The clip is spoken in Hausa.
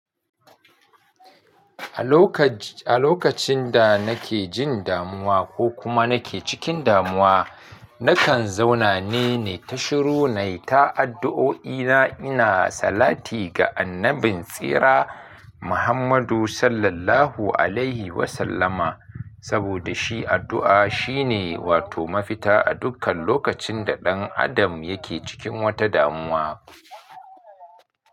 A lokacin da nake jin damuwa ko kuma nake cikin damuwa, nakan zauna ne, ni ta shiru na yi ta addu'o'i na ina salati ga annabin tsira Muhammadu SAW. Saboda shi addu'a shine wato mafita a dukkan lokacin da ɗan Adam yake cikin wata damuwa.